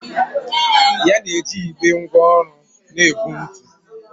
Ya na-eji igbe ngwá ọrụ na-ebu ntu.